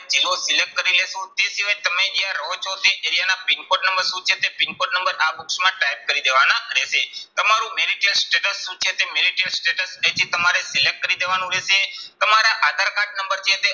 જિલ્લો select કરી લઈશું. તે સિવાય તમે જ્યાં રહો છો તે area ના PIN code નંબર શું છે તે PIN code નંબર આ box માં type કરી દેવાના રહેશે. તમારું marital status શું છે તે marital status અહીંથી તમારે select કરી દેવાનું રહેશે. તમારા આધાર કાર્ડ નંબર જે છે